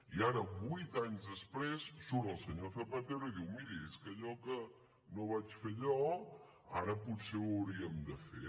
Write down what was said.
i ara vuit anys després surt el senyor zapatero i diu miri és que allò que no vaig fer jo ara potser ho hauríem de fer